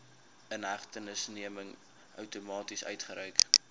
inhegtenisneming outomaties uitgereik